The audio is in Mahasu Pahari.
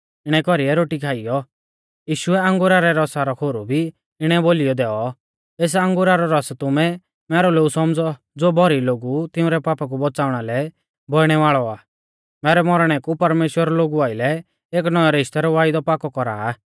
इणै कौरीऐ रोटी खाइयौ यीशुऐ अंगुरा रै रसा रौ खोरु भी इणै बोलीयौ दैऔ एस अंगुरा रौ रस तुमै मैरौ लोऊ सौमझ़ौ ज़ो भौरी लोगु तिंउरै पापा कु बौच़ाऊणा लै बौइणै वाल़ौ आ मैरै मौरणै कु परमेश्‍वर लोगु आइलै एक नौऐं रिश्तै रौ वायदौ पाकौ कौरा आ